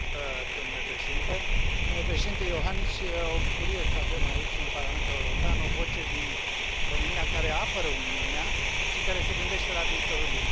Domnule Președinte, domnule Președinte Iohannis, e o bucurie să avem aici în Parlamentul European o voce din România care apără Uniunea și care se gândește la viitorul ei.